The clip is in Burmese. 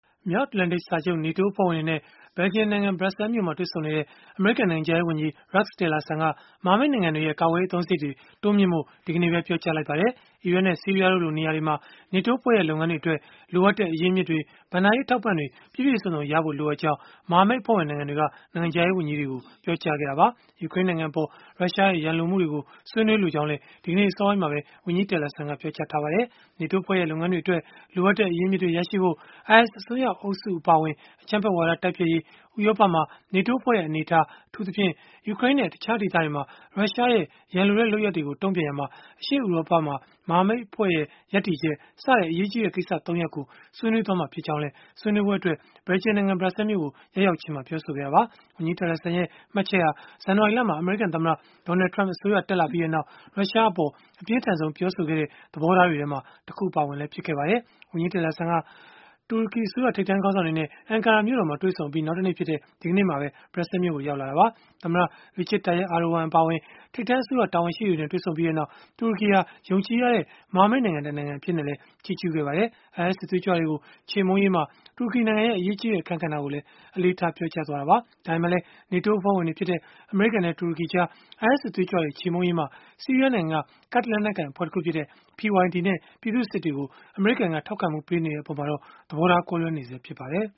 မြောက်အတ္တလန်တိတ်စာချုပ် (NATO) အဖွဲ့ဝင်တွေနဲ့ ဘယ်လ်ဂျီယံနိုင်ငံ ဘရပ်ဆဲလ်မြို့မှာ တွေ့ဆုံနေတဲ့ အမေရိကန်နိုင်ငံခြားရေးဝန်ကြီး Rex Tillerson က မဟာမိတ် နိုင်ငံတွေရဲ့ ကာကွယ်ရေး အသုံးစရိတ်တွေကို တိုးမြှင့်ဖို့ ဒီကနေ့ပဲ ပြောကြားလိုက်ပါတယ်။ အီရတ်နဲ့ ဆီးရီးယားတို့လို နေရာတွေမှာ NATO အဖွဲ့ရဲ့ လုပ်ငန်းတွေအတွက် လိုအပ်တဲ့ အရင်းအမြစ်တွေ၊ ဘဏ္ဍာရေး အထောက်အပံ့တွေ ပြည့်ပြည့်စုံစုံရဖို့ လိုအပ်ကြောင်း မဟာမိတ်အဖွဲ့ဝင်နိုင်ငံတွေက နိုင်ငံခြားရေးဝန်ကြီးတွေကို ပြောကြားခဲ့တာပါ။ ယူကရိန်းနိုင်ငံအပေါ် ရုရှားရဲ့ ရန်လိုမှုတွေကို ဆွေးနွေးလိုကြောင်းလည်း ဒီကနေ့ အစောပိုင်းမှာပဲ ဝန်ကြီး Tillerson ကပြောကြားထားပါတယ်။ NATO အဖွဲ့ရဲ့ လုပ်ငန်းတွေအတွက် လိုအပ်တဲ့ အရင်းအမြစ်တွေ ရရှိရေး၊ IS အစွန်းရောက်အုပ်စု အပါအဝင် အကြမ်းဖက်ဝါဒ တိုက်ဖျက်ရေး၊ ဥရောပမှာ NATO အဖွဲ့ရဲ့ အနေအထား အထူးသဖြင့် ယူကရိန်းနဲ့ တခြားဒေသတွေမှာ ရုရှားရဲ့ ရန်လိုတဲ့လုပ်ရပ်တွေကို တုန့်ပြန်ရာမှာ အရှေ့ဥရောပမှာ မဟာမိတ် အဖွဲ့ရဲ့ ရပ်တည်ချက်၊ စတဲ့ အရေးကြီးတဲ့ ကိစ္စရပ် ၃ ရပ်ကို ဆွေးနွေးသွားမှာဖြစ်ကြောင်း ဆွေးနွေးပွဲအတွက် ဘယ်လ်ဂျီယံနိုင်ငံ ဘရပ်ဆဲလ်မြို့ကို ရောက်ရောက်ချင်းမှာပဲ ပြောဆိုခဲ့တာပါ။ ဝန်ကြီး Tillerson ရဲ့ မှတ်ချက်ဟာ ဇန်နဝါရီလမှာ အမေရိကန်သမ္မတ Donald Trump အစိုးရ တက်လာပြီးနောက် ရုရှားအပေါ် အပြင်းထန်ဆုံး ပြောဆိုခဲ့တဲ့ သဘောထားတွေထဲမှာ တခုအပါအဝင် ဖြစ်ခဲ့ပါတယ်။ ဝန်ကြီး Tillerson ဟာ တူရကီအစိုးရ ထိပ်တန်းခေါင်းဆောင်တွေနဲ့ Ankara မြို့တော်မှာ တွေ့ဆုံခဲ့အပြီး နောက်တနေ့ဖြစ်တဲ့ ဒီကနေ့မှာပဲ ဘရပ်ဆဲလ်မြို့ကို ရောက်လာခဲ့တာပါ။ သမ္မတ Recep Tayyip Erdogan အပါအဝင် ထိပ်တန်းအစိုးရ တာဝန်ရှိသူတွေနဲ့ တွေ့ဆုံခဲ့ပြီးနောက် တူရကီဟာ ယုံကြည်ရတဲ့ မဟာမိတ်နိုင်ငံတနိုင်ငံ အဖြစ်နဲ့လည်း ချီးကျုးခဲ့ပါတယ်။ IS စစ်သွေးကြွတွေကို ချေမှုန်းရေးမှာ တူရကီနိုင်ငံရဲ့ အရေးကြီးတဲ့ အခန်းကဏ္ဍကိုလည်း အလေးထား ပြောကြားခဲ့တာပါ။ ဒါပေမဲ့လည်း NATO အဖွဲ့ဝင်တွေဖြစ်ကြတဲ့ အမေရိကန်နဲ့ တူရကီကြား IS စစ်သွေးကြွတွေ ချေမှုန်းရာမှာ ဆီးရီးယားနိုင်ငံက ကာဒ်လက်နက်ကိုင်အဖွဲ့တခုဖြစ်တဲ့ PYD နဲ့ ပြည်သူ့စစ်တွေကို အမေရိကန်က ထောက်ခံမှု ပေးနေတဲ့ အပေါ်မှာတော့ သဘောထားကွဲလွဲနေဆဲ ဖြစ်ပါတယ်